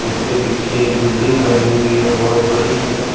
उसके पीछे एक बिल्डिंग बनी हुई है बहोत बड़ी सी --